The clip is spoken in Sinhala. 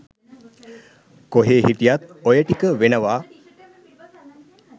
කොහේ හිටියත් ඔය ටික වෙනවා.